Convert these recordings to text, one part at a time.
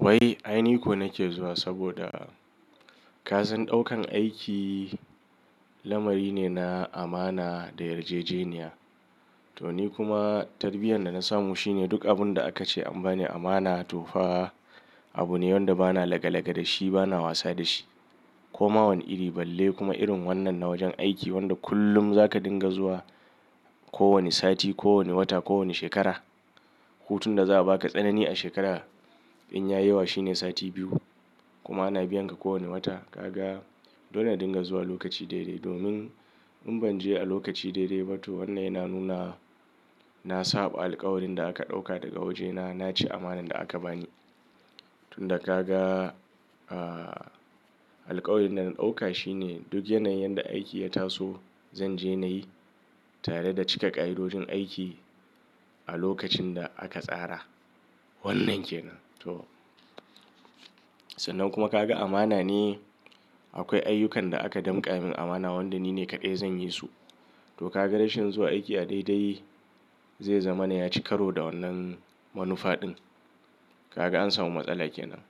Wai, aini ko nake zuwa saboda kasan ɗaukan aiki lamari ne na amana da yarjejeniya. Toni kuma tarbiyyar dana samu shine duk abun da akace an bani amana tofa abu ne wanda bana laga-laga dashi bana wasa dashi. Koma wani iri balle kuma irin wannan na wajen aiki wanda kullum zaka dinga zuwa, ko wani sati, ko wani wata, ko wani shekara. Hutun da za'a baka tsanani a shekara in yayi yawa shine sati biyu kuma ana biyan ka kowanne wata. Kaga dole na dinga zuwa lokaci daidai domin in banje a lokaci daidai ba to wannan yana nuna na saɓa alƙawarin da aka ɗauka daga wajena. Naci amanan da aka bani. Tunda kaga, ah, alƙawarin dana ɗauka shine duk yanayin ƴanda aiki ya taso zanje nayi tare da cika ƙa'idojin aiki a lokacinda aka tsara. Wannan kenan to. Sannan kuma kaga amana ne akwai ayyukan da aka danƙa min amana wanda nine kaɗai zanyi su. To kaga rashin zuwa aiki a daidai zai zamana yaci karo da wannan manufa ɗin. Kaga an samu matsala kenan.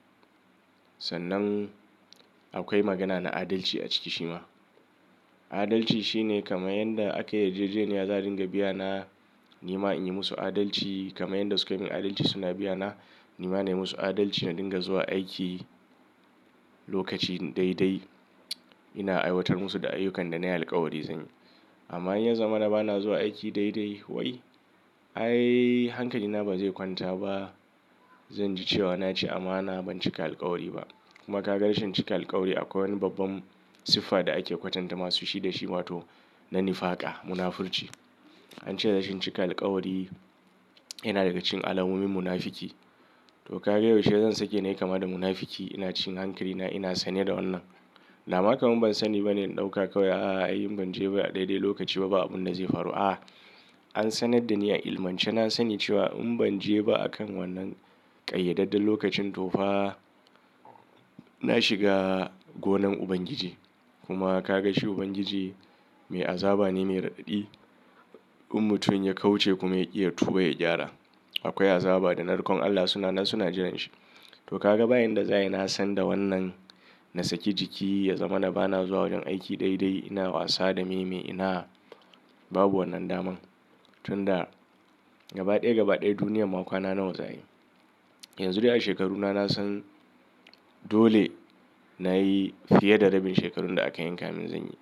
Sannan aƙwai magana na adalci a ciki shima. Adalci shine kamar yanda akayi yarjejeniya za'a dinga biya na. Nima inyi musu adalci kamar yanda sukayi min adalci suna biya na. Nima na yi musu adalci na dinga zuwa aiki lokaci daidai. Ina aiwatar musu da ayyukan danayi alƙawari zanyi. Amma in yazamana bana zuwa aiki daidai wai, ai hankali na bazai kwanta ba. Zanji cewa naci amana ban cika alƙawari ba. Kuma ka ga rashin cika alƙawari akwai wani babban siffa da ake kwatanta masu shi da shi wato na nifaka, munafurci. An ce rashin cika alƙawari yana daga cikin alamomin munafuki. To kaga yaushe zan sake nayi kama da munafuki ina cin hankalina ina sane da wannan. Daman kamar ban sani bane in ɗauka kawai a'a in banje ba a daidai lokaci ba abunda zai faru. A'a an sanar dani a ilmance na sani cewa in banje ba akan wannan ƙayyadadden lokacin tofa na shiga gonan Ubangiji. Kuma kaga shi Ubangiji mai azaba ne mai raɗaɗi in mutum ya kauce kuma yaƙi ya tuba ya gyara. Akwai azaba da narkon Allah suna nan suna jiran shi. To kaga ba yanda za'ayi nasan da wannan na saki jiki ya zamana bana zuwa wajen aiki daidai ina wasa da me, me ina babu wannan daman. Tunda gaba ɗaya gaba ɗaya duniyarma ƙwana nawa za'ayi. Yanzu dai a shekaruna nasan dole nayi fiye da rabin shekarun da aka yanka min zanyi.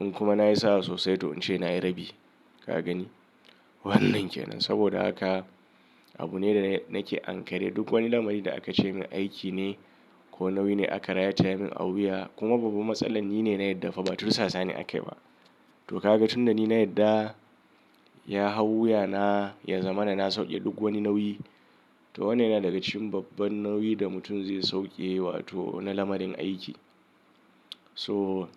In kuma nayi sa'a sosai to ince nayi rabi. Kagani wannan kenan saboda haka abune da nake ankare duk wani lamari da akace mun aiki ne ko nauyi ne aka rataya min a wuya kuma babban matsala nine na yadda fa ba tursasani akayi ba. To kaga tunda nina yadda ya hau wuyana ya zamana na sauke duk wani nauyi. To wannan yana daga cikin babban nauyin da mutum zai sauke wato na lamarin aiki. To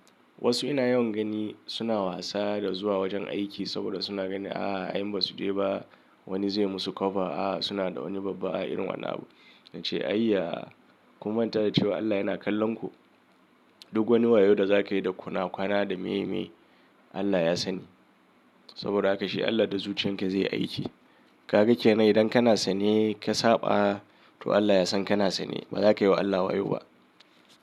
wasu ina yawan gani suna wasa da zuwa wajen aiki saboda suna ganin a'a in basu jeba wani zai musu cover. A'a suna da wani babban a'a irin wannan abun. Nace ayya ku manta da cewa Allah yana kallonku. Duk wani wayo da zakayi da ƙwana ƙwana da meye, meye Allah ya sani. Saboda haka shi Allah da zuciyan ka zaiyi aiki. Kaga kenan idan kana sane ka saɓa to Allah yasan kana sane bazakayi wa Allah wayo ba.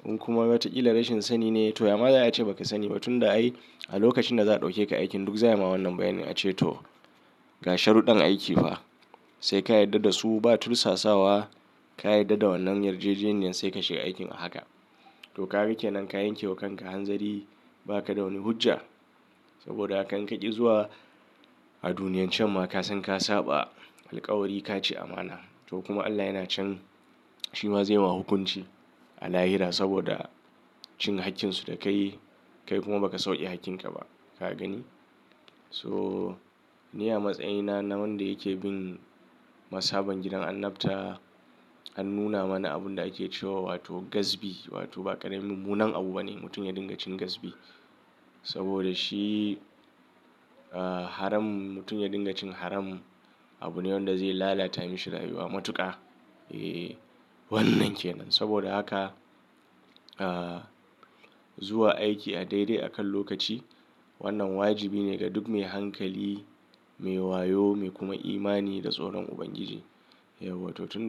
In kuma wataƙila rashin sani ne to yama za'a ce baka sani ba tunda ai a lokacin da za'a ɗauke ka aikin duk za'a ma wannan bayanin ace to ga sharuɗɗan aiki fa saika yarda dasu ba tursasawa. Ka yarda da wannan yarjejeniyar sai ka shiga aikin a haka. To kaga kenan ka yankewa kanka hanzari bakada wani hujja saboda hakan inka ƙi zuwa a duniyan canma kasan ka saɓa alƙawari kaci amana. To kuma Allah yana can shi ma zai ma hukunci a lahira saboda cin hakkinsu da kayi. Kai kuma baka sauke hakkin kaba. Ka gani? So ni a matsayina na wanda yake bin mashaban gidan annabta an nuna mana abunda ake cewa wato gazbi wato ba ƙarimin mummunan abu bane mutum ya dinga cin gazbi saboda shi, ah, haram mutum ya dinga cin haram abune wanda zai lalata masa rayuwa matuƙa. Eh wannan kenan saboda haka, ah, zuwa aiki a daidai akan lokaci wannan wajibine ga duk mai hankali, mai wayo mai kuma imani da tsoron Ubangiji. Yauwa to tun.